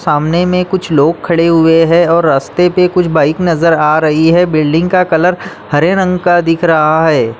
सामने में कुछ लोग खड़े हुए है और रस्ते पे कुछ बाइक नजर आ रही है बिल्डिंग का कलर हरे रंग का दिख रहा है।